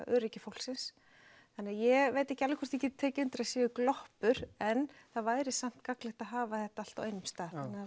öryggi fólksins þannig ég veit ekki alveg hvort ég geti tekið undir að það séu gloppur en það væri samt gagnlegt að hafa þetta allt á einum stað